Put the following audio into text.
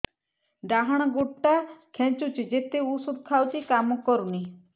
ଡାହାଣ ଗୁଡ଼ ଟା ଖାନ୍ଚୁଚି ଯେତେ ଉଷ୍ଧ ଖାଉଛି କାମ କରୁନି